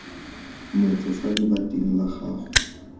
motho fa lebating la gago